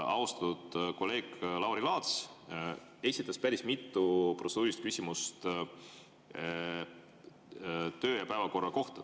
Austatud kolleeg Lauri Laats esitas päris mitu protseduurilist küsimust töö‑ ja korra kohta.